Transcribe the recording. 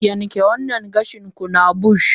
yanke wannan gashin ku na bushy!